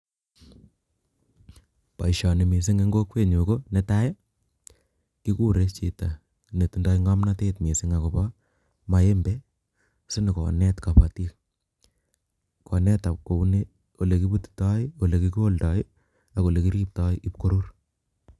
Boishoni ko missing en kokwenyun konetai kiguure chito netindoi ngomnotet missing akobo maembe sikonyo konet kobootik. konet kounii ,olekibutitooi ole kiloldoo, ak olekiribtoo bokoi korur